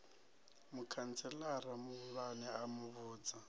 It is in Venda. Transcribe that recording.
mukhantselara muhulwane a mu vhudza